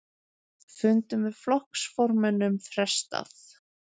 Fundum með flokksformönnum frestað